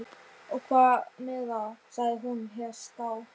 Og hvað með það? sagði hún herská.